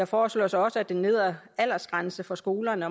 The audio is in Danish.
foreslås også at den nedre aldersgrænse for skolerne